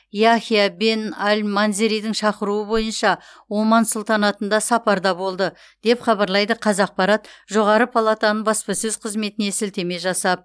яхия бен әл манзеридің шақыруы бойынша оман сұлтанатында сапарда болды деп хабарлайды қазақпарат жоғары палатаның баспасөз қызметіне сілтеме жасап